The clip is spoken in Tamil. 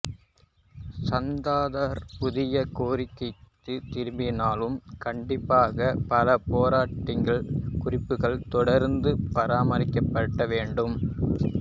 சந்தாரார் புதிய கேரியருக்குத் திரும்பினாலும் கண்டிப்பாக பலபோர்ட்டிங் குறிப்புகள் தொடர்ந்து பராமரிக்கப்பட வேண்டும்